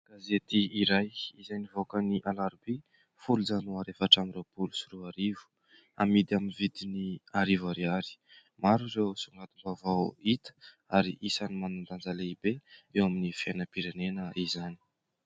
Gazetỳ iray izay nivoaka ny alarobia folo janoary efatra amby roapolo sy roa arivo amidy amin'ny vidiny arivo ariary. Maro ireo songadim-baovao hita ary isany manan-danja lehibe eo amin'ny fiainam-pirenena izany.